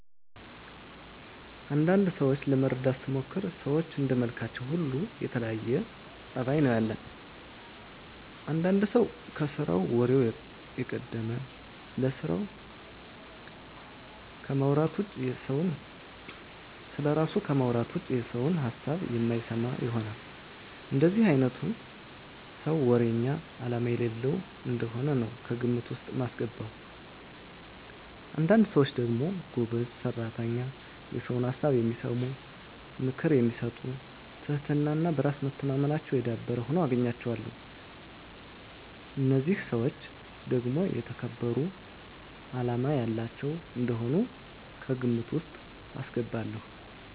አንዳንድ ሰዎችን ለመረዳት ስሞክር ሰዎች እንደመልካችን ሁሉ የተለያየ ፀባይ ነው ያለን። አንዳንድ ሰው ከስራው ወሬው የቀደመ፣ ስለራሱ ከማውራት ውጭ የሰውን ሀሳብ የማይሰማ ይሆናል። እንደዚህ አይነቱን ሰው ወረኛ አላማ የሌለው እንደሆነ ነው ከግምት ውስጥ ማስገባው። አንዳንድ ሰዎች ደግሞ ጎበዝ ሰራተኛ፣ የሰውን ሀሳብ የሚሰሙ፣ ምክር የሚሰጡ ትህትና እና በራስ መተማመናቸው የዳበረ ሁነው እናገኛቸዋለን። እነዚህን ሰዎች ደግሞ የተከበሩ አላማ ያላቸው እንደሆኑ ከግምት ውስጥ አስገባለሁ።